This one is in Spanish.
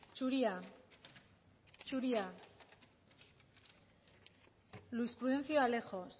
zuria zuria luis prudencio alejos